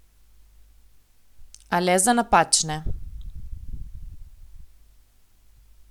A le za napačne.